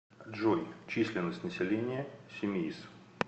джой численность населения симеиз